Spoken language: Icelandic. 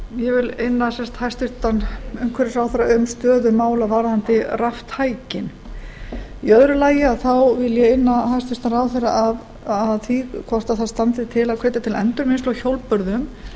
ég vil sem sagt inn hæstvirtur umhverfisráðherra um stöðu mála varðandi raftækin í öðru lagi vil ég inna hæstvirtan ráðherra að því hvort það standi til að hvetja til endurvinnslu á hjólbörðum